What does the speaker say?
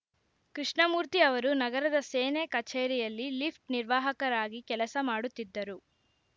ಕೃಷ್ಣಮೂರ್ತಿ ಅವರು ನಗರದ ಸೇನೆ ಕಚೇರಿಯಲ್ಲಿ ಲಿಫ್ಟ್‌ ನಿರ್ವಾಹಕರಾಗಿ ಕೆಲಸ ಮಾಡುತ್ತಿದ್ದರು